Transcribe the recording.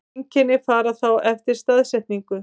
Einkenni fara þá eftir staðsetningu.